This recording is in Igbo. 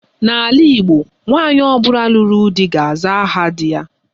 N' ala Igbo, nwaanyị ọbụla lụrụ di ga-aza aha di ya.